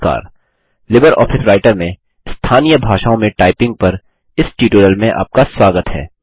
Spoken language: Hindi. नमस्कार लिबर ऑफिस राइटर में स्थानीय भाषाओं में टाइपिंग पर इस टयूटोरियल में आपका स्वागत है